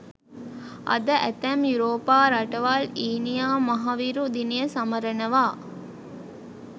අද ඇතැම් යුරෝපා රටවල් ඊනියා මහවිරු දිනය සමරනවා